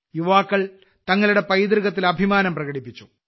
യുവാക്കൾ തങ്ങളുടെ പൈതൃകത്തിൽ അഭിമാനം പ്രകടിപ്പിച്ചു